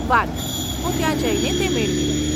વારુ, હું ત્યાં જઈને તે મેળવી લઈશ.